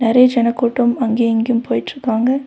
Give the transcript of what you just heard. ஒரே ஜன கூட்டம் அங்கியு இங்கியும் போயிட்டிருக்காங்க.